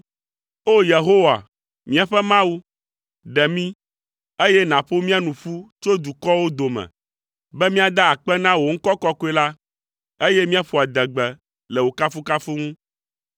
O! Yehowa, míaƒe Mawu, ɖe mí, eye nàƒo mía nu ƒu tso dukɔwo dome, be míada akpe na wò ŋkɔ kɔkɔe la, eye míaƒo adegbe le wò kafukafu ŋu.